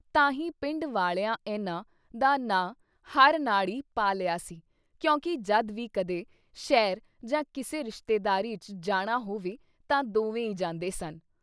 ਤਾਂਹੀ ਪਿੰਡ ਵਾਲਿਆਂ ਏਨਾ ਦਾ ਨਾਂ “ਹਰਨਾੜੀ” ਪਾ ਲਿਆ ਸੀ ਕਿਉਂਕਿ ਜਦ ਵੀ ਕਦੇ ਸ਼ਹਿਰ ਜਾਂ ਕਿਸੇ ਰਿਸ਼ਤੇਦਾਰੀ ਚ ਜਾਣਾ ਹੋਵੇ ਤਾਂ ਦੋਵੇ ਈ ਜਾਂਦੇ ਸਨ।